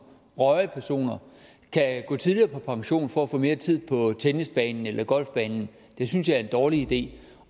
rørige personer kan gå tidligere på pension for at få mere tid på tennisbanen eller golfbanen synes jeg er en dårlig idé